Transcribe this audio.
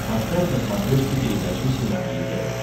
поставь на смотрешке передачу синергия тв